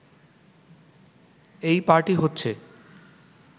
এই পার্টি হচ্ছে